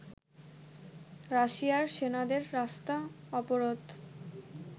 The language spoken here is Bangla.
রাশিয়ার সেনাদের রাস্তা অবরোধ